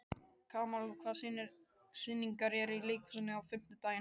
Kamal, hvaða sýningar eru í leikhúsinu á fimmtudaginn?